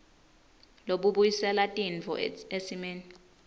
lobubuyisela tintfo esimeni